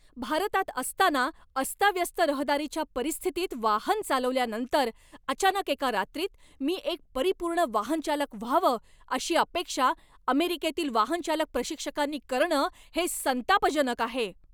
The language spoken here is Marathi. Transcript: भारतात असताना अस्ताव्यस्त रहदारीच्या परिस्थितीत वाहन चालवल्यानंतर, अचानक एका रात्रीत मी एक परिपूर्ण वाहनचालक व्हावं अशी अपेक्षा अमेरिकेतील वाहनचालक प्रशिक्षकांनी करणं हे संतापजनक आहे.